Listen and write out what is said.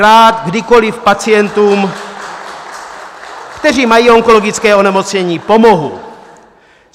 Rád kdykoli pacientům, kteří mají onkologické onemocnění, pomohu.